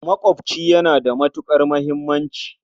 Maƙwaɓci yana da matuƙar muhimmanci.